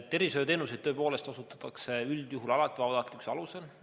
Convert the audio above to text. Tervishoiuteenuseid osutatakse tõepoolest üldjuhul vabatahtlikkuse alusel.